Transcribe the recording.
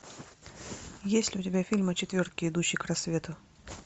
есть ли у тебя фильм о четверке идущей к рассвету